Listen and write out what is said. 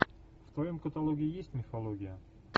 в твоем каталоге есть мифология